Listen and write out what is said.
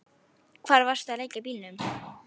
Hvar varstu vanur að leggja bílnum?